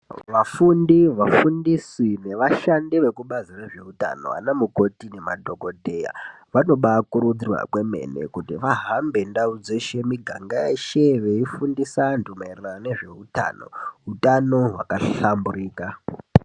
Vafundi, vafundisi, nevashandi vekubazi rezveutano ana mukoti nemadhokotera, vanoba kurudzirwa kwemene kuti vahambe ndau dzeshe nemiganga yeshe veifundisa vandu maererano ngezveutano hwakahlamburika.